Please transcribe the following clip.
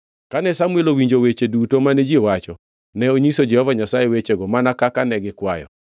Kane Samuel owinjo weche duto mane ji owacho, ne onyiso Jehova Nyasaye wechego mana kaka ne gikwayo.